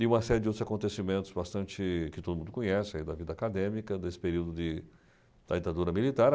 E uma série de outros acontecimentos bastante... que todo mundo conhece aí da vida acadêmica, desse período de... da ditadura militar.